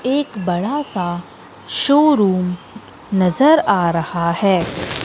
एक बड़ा सा शोरूम नजर आ रहा है।